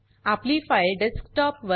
आपली file desktop